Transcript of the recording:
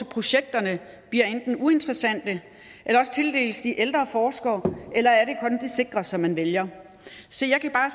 projekterne bliver enten uinteressante eller tildeles de ældre forskere eller er det sikre som man vælger se jeg kan bare